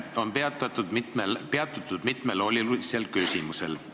On peatutud mitmel olulisel küsimusel.